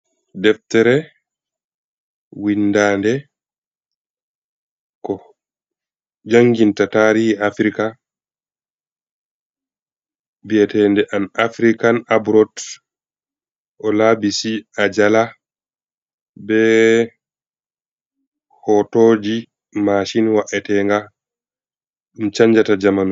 Deftere, windaande, ko janginta taarihi Afrika, bi'eteende an Afrikan aburot, Olaabisi Ajala. Bee hootooji maashin wa'etenga ɗum chanjata jamanu.